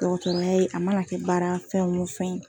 Dɔw t'u bɛ yen, a mana kɛ baara fɛn o fɛn ye.